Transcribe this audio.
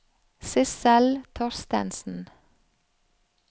Sissel Thorstensen